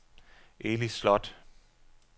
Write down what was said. Eli Slot